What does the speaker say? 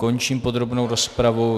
Končím podrobnou rozpravu.